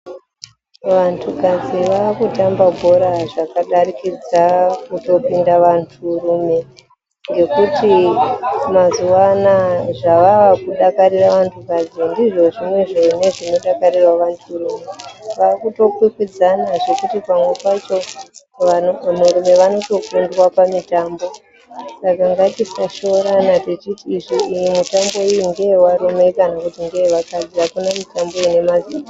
Vantukadzi vakutamba bhora zvakadarikidza kutopinda vanturume ngekuti mazuwa anaa zvavakudakarira vantukadzi ndizvon zvimwezvo zvinodakarirawo vanturume. Kwakutokwikwidzana zvekuti pamwe pacho vanturume vanotokundwa pamitambo saka ngatisashoorana tichiti iyi mitambo ngeyevarume kana kuti ngeyevakadzi akuna mitambo ine mazita.